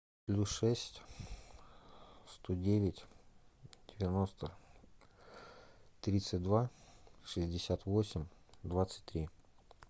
плюс шесть сто девять девяносто тридцать два шестьдесят восемь двадцать три